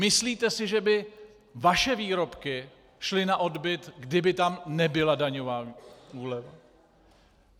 Myslíte si, že by vaše výrobky šly na odbyt, kdyby tam nebyla daňová úleva?